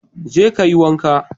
Jeka kayi wanka